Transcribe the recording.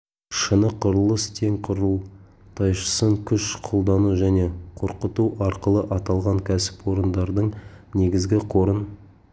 шыны құрылыс тең құрылтайшысын күш қолдану және қорқыту арқылы аталған кәсіпорындардың негізгі қорын